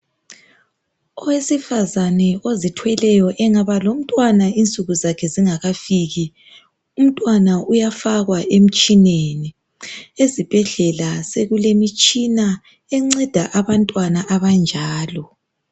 Owesifazane ozithweleyo engaba lomntwana insuku zakhe zingakafiki umntwana uyafakwa emtshineni ezibhedlela sokulemitshina enceda abantwana abanjalo